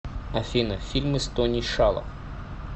афина фильмы с тони шало